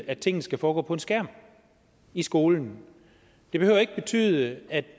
at tingene skal foregå på en skærm i skolen det behøver ikke betyde at